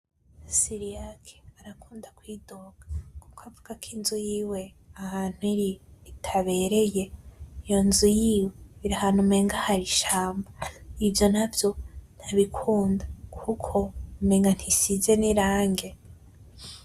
Siriyake arakunda kwidoga kuko akuvugako inzu yiwe ahantu iri itabereye, iyo nzu yiwe iri ahantu umenga hari ishamba ivyo navyo ntabikunda kuko umenga ntisize n'irangi.